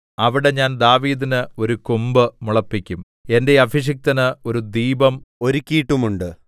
അവിടെ ഞാൻ ദാവീദിന് ഒരു കൊമ്പ് മുളപ്പിക്കും എന്റെ അഭിഷിക്തന് ഒരു ദീപം ഒരുക്കിയിട്ടുമുണ്ട്